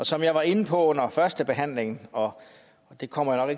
som jeg var inde på under førstebehandlingen og det kommer jeg